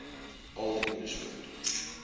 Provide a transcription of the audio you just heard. old english word